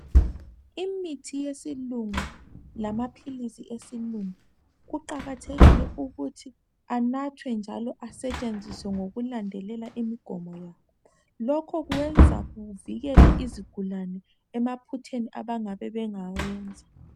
Imithi yesilungu lamaphilisi esilungu kuqakathekile ukuthi anathwe njalo asetshenziswe ngokulandelela imigomo yawo. Lokho kwenza kuvikele izigulane emaphutheni abangabe bengawenza.